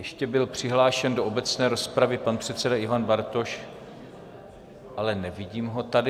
Ještě byl přihlášen do obecné rozpravy pan předseda Ivan Bartoš, ale nevidím ho tady.